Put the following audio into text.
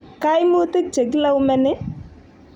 kaimutik che kelaumeni?